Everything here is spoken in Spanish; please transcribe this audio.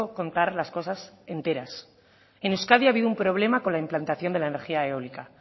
contar las cosas enteras en euskadi ha habido un problema con la implantación de la energía eólica